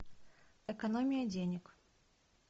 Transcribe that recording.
экономия денег